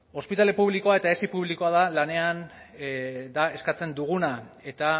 ospitale publikoa eta esi publikoa da eskatzen duguna eta